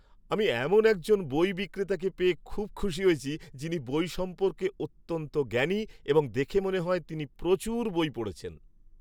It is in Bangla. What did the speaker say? আমি এমন একজন বই বিক্রেতাকে পেয়ে খুব খুশি হয়েছি যিনি বই সম্পর্কে অত্যন্ত জ্ঞানী এবং দেখে মনে হয় তিনি প্রচুর বই পড়েছেন।